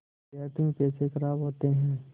व्यर्थ में पैसे ख़राब होते हैं